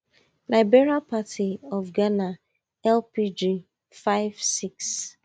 liberal party of ghana lpg five six